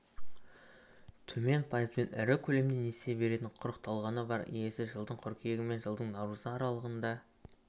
төмен пайызбен ірі көлемде несие беретін құрықталғаны бар иесі жылдың қыркүйегі мен жылдың наурызы аралығында